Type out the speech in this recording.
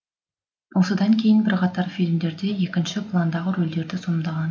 осыдан кейін бірқатар фильмдерде екінші пландағы рөлдерді сомдаған